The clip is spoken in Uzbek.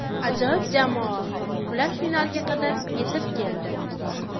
Ajoyib jamoa, ular finalga qadar yetib keldi.